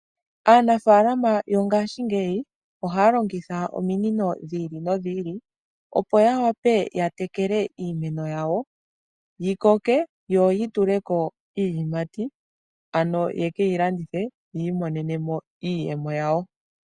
Aanafalama yongaashingeyi ohaya longitha ominino dhiilinodhiili opo ya wape yatekele iimeno yawo, yikoke yoyi tuleko iiyimati ano yekeyi landithe yiimonenemo iiyemo yawo.